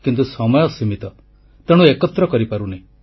କିନ୍ତୁ ସମୟ ସୀମିତ ତେଣୁ ଏକତ୍ର କରିପାରୁନି